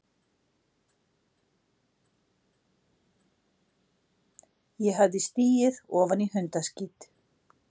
Ég hafði stigið ofan í hundaskít.